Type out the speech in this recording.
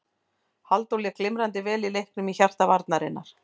Halldór lék glimrandi vel í leiknum í hjarta varnarinnar.